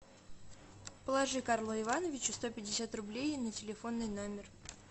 положи карлу ивановичу сто пятьдесят рублей на телефонный номер